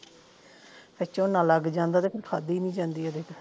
ਫਿਰ ਝੋਨਾ ਲੱਗ ਜਾਂਦਾ ਤੇ ਫਿਰ ਖਾਂਦੀ ਨਹੀਂ ਜਾਂਦੀ ਇਹਦੇ ਤੋਂ